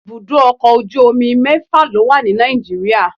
ibudọ ọkọ ojú omí mẹfa lo wa ní Nàìjíríà